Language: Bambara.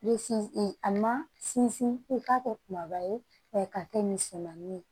Bɛ sinsin a ma sinsin i k'a kɛ kumaba ye k'a kɛ misɛmani ye